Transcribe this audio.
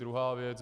Druhá věc.